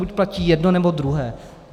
Buď platí jedno, nebo druhé.